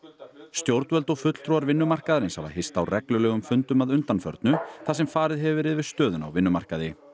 stjórnvöld og fulltrúar vinnumarkaðarins hafa hist á reglulegum fundum að undanförnu þar sem farið hefur verið yfir stöðuna á vinnumarkaði